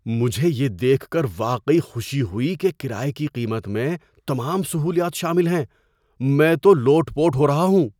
مجھے یہ دیکھ کر واقعی خوشی ہوئی کہ کرایے کی قیمت میں تمام سہولیات شامل ہیں۔ میں تو لوٹ پوٹ ہو رہا ہوں!